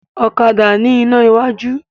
Ọ̀kadà ni ina iwájú